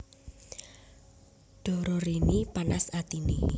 Dororini panas atiné